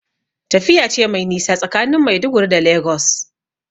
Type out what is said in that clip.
Tafiya ce mai nisa tsakanin Maiduguri da Lagos.